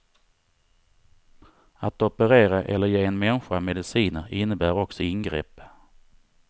Att operera eller ge en människa mediciner innebär också ingrepp.